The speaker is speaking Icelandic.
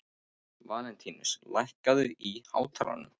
Valentínus, lækkaðu í hátalaranum.